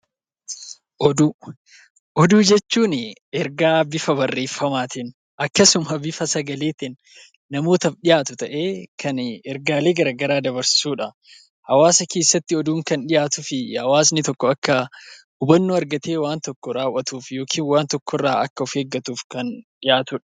Oduu Oduu jechuun ergaa bifa barreefamaatiin, akkasuma bifa sagaleetiin namootaaf dhiyaatu ta'ee, kan ergaalee gara garaa dabarsu dha. Hawaasaa keessatti oduun kan dhiyaatuu fi hawaasni tokko akka hubannoo argatee waan tokko raawwatuuf yookiin waan tokko irraa akka of eeggatuuf kan dhiyaatu dha.